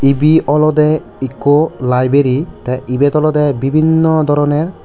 ebe olode ekko library te ibet olode bibinno doroner.